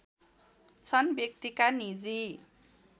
छन् व्यक्तिका निजी